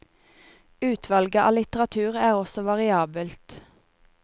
Utvalget av litteratur er også variabelt.